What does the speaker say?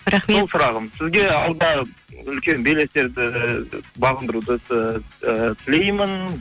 рахмет сол сұрағым сізге алда үлкен белестерді бағындыруды ыыы тілеймін